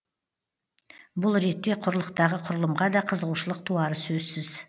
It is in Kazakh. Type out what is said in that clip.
бұл ретте құрлықтағы құрылымға да қызығушылық туары сөзсіз